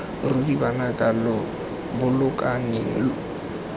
ruri banaka lo bolokaneng lo